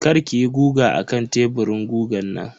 kar kiyi guga akan teburin gugan nan.